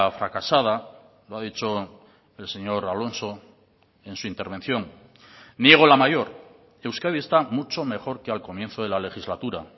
fracasada lo ha dicho el señor alonso en su intervención niego la mayor euskadi está mucho mejor que al comienzo de la legislatura